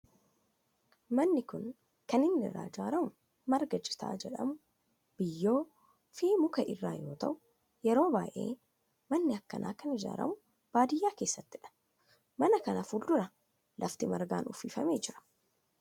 Manni kun kan inni irraa ijaaramu marga citaa jedhamu, biyyoo fi muka irraa yoo ta'u yeroo baayyee manni akkanaa kan ijaaramu baadiyaa keessattidha. Mana kana fuuldura lafti margaan uwwifame jira.